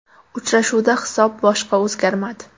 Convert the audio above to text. Uchrashuvda hisob boshqa o‘zgarmadi.